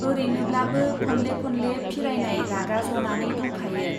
औरैनोब्लाबो खनले खनले फिरायनाय रागा जनानै दंखायो।